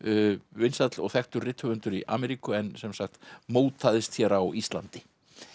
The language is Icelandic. vinsæll og þekktur rithöfundur í Ameríku en sem sagt mótaðist hér á Íslandi